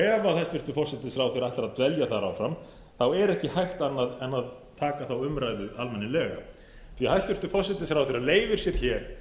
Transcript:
ef hæstvirtur forsætisráðherra ætlar að dvelja þar áfram er ekki hægt annað en taka þá umræðu almennilega því hæstvirtur forsætisráðherra leyfir sér